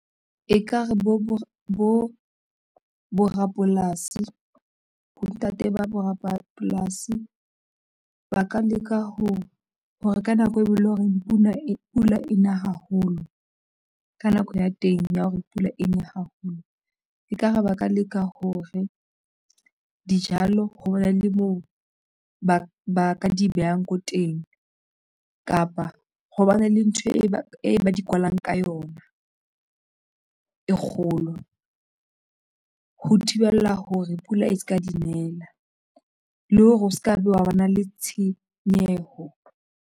Ekare borapolasi bontate ba borapolasi ba ka leka ho hore ka nako eo eleng hore pula ena haholo ka nako ya teng ya hore pula eny haholo, ekare ba ka leka hore dijalo, ho bane le moo ba ba ka di behang ko teng kapa ho bane le ntho e ba e ba di kwallang ka yona e kgolo ho thibela hore pula e se ka dinela le hore o se ke be hwa ba na le tshenyeho.